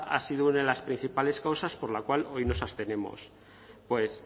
ha sido una de las principales causas por la cual hoy nos abstenemos pues